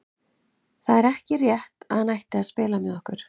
Það er ekki rétt að hann ætti að spila með okkur.